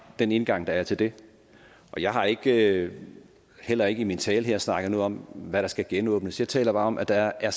den indgang der er til det jeg har ikke heller ikke i min tale her snakket noget om hvad der skal genåbnes jeg taler bare om at der er